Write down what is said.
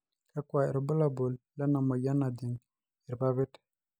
kakua irbulabol lena moyian najing' irpapit?